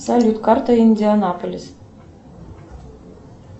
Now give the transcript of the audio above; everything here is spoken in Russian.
салют карта индианаполис